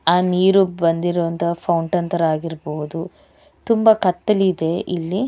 ಆ ನೀರು ಬಂದಿರುವಂತಹ ಫೌಂಟನ್ ತರ ಆಗಿರಬಹುದು ತುಂಬಾ ಕತ್ತಲಿದೆ ಇಲ್ಲಿ